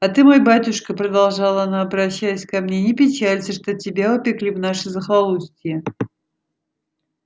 а ты мой батюшка продолжала она обращаясь ко мне не печалься что тебя упекли в наше захолустье